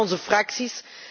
Ook hier in onze fracties.